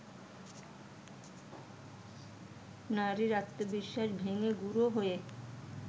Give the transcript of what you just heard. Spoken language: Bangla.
নারীর ‘আত্মবিশ্বাস’ ভেঙে গুঁড়ো হয়ে